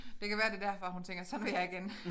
Det kan være det derfor hun tænker sådan vil jeg ikke ende